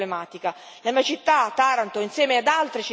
Italia e Grecia vivono da vicino questa problematica.